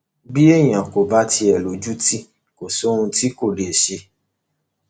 bí èèyàn kò bá ti lójútì kò sí ohun tí kò lè ṣe